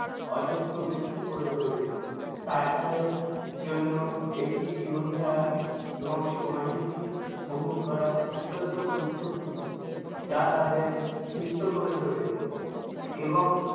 অযোগ্য ব্যক্তি করে তুলে। তাই তাদের জন্য একটি জীবনধারা এবং সময়সূচি গ্রহণ করা অত্যন্ত গুরুত্বপূর্ণ যা তাদের সুস্থ করে তুলে এবং